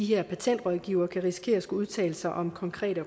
her patentrådgivere kan risikere at skulle udtale sig om konkrete